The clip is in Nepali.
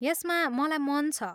यसमा मलाई मन छ।